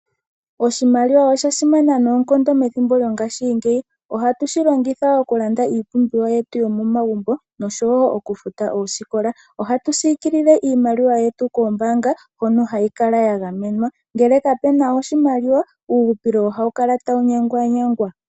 Oshimaliwa osha simana noonkondo methimbo lyongashingeyi. Ohatu shi longitha oku landda iipumbiwa yetu yomomagumbo osho wo oku futa ooskola. Ohatu sikilile iimaliwa yetu koombanga hono hayi kala ya gaemenwa, ngele kapena oshimaliwa uuhupilo ohawu kala tawu nyanganyagwa.